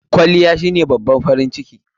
Kwalliya shine babban farin ciki..